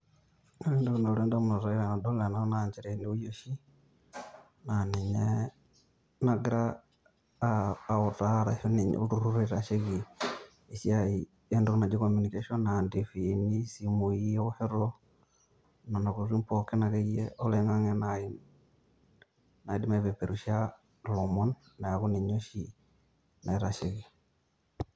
Ore entokin nalotu ndamunot ai tenadol ena naa njere eweji oshi naa ninye nagira autaa orashu ninye olturur oitashe esiai entoki naji communication a ntifiini ,simui eoshoto nena kutitik tokini akeyie oloingange naji naidip aipeperusha ilomon neeku ninye oshi naitasheki.